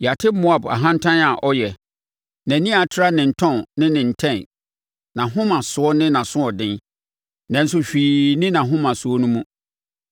Yɛate Moab ahantan a ɔyɛ, nʼani a atra ne ntɔn ne ne ntɛn, nʼahomasoɔ ne nʼasoɔden, nanso hwee nni nʼahomasoɔ no mu.